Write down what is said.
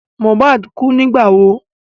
Mohbad kú nígbà wo?